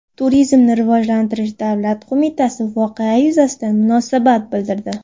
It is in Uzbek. Turizmni rivojlantirish davlat qo‘mitasi voqea yuzasidan munosabat bildirdi .